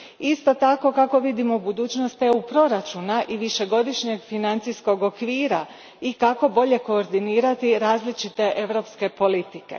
Isto tako, kako vidimo budućnost proračuna EU a i višegodišnjeg financijskog okvira i kako bolje koordinirati različite europske politike.